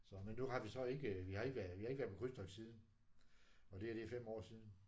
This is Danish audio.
Så men nu har vi så ikke vi har ikke været vi har ikke været på krydstogt siden og det her det er fem år siden